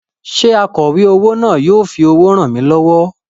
Ṣé akọ̀wé owó náà yóò fi owó ràn mí lọ́wọ́?